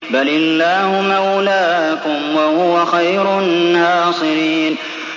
بَلِ اللَّهُ مَوْلَاكُمْ ۖ وَهُوَ خَيْرُ النَّاصِرِينَ